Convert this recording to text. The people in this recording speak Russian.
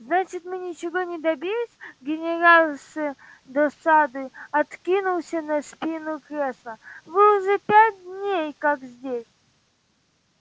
значит мы ничего не добились генерал с досадой откинулся на спинку кресла вы уже пять дней как здесь